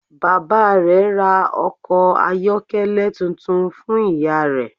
Bàbá rè ra ọkọ̀ ayọ́kẹ́lẹ́ tuntun fun ìyá rẹ